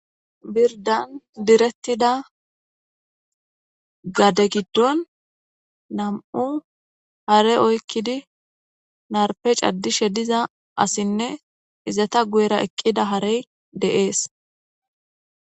birdan direttida gade giddon nam7u hare oykkidi narpe caddishe diza asinne izata guyera eqqida harey deees